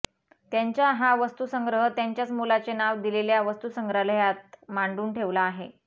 त्यांच्या हा वस्तूसंग्रह त्यांच्याच मुलाचे नाव दिलेल्या वस्तूसंग्रहालयात मांडून ठेवळा आहे